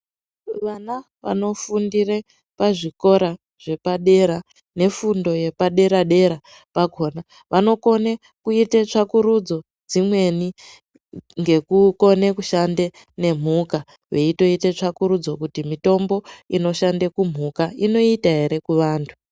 Vana vanofundire pazvikora zvepadera nefundo yepadera-dera pakona. Vanokone kuita tsvakurudzo dzimweni ngekukone kushande nemhuka. Veitoite tsvakurudzo kuti mitombo inoshande kumhuka inoita ere kuvantu.